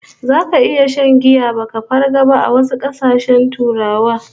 Zaka iya shan giya baka farga ba a wasu kasashen Turawa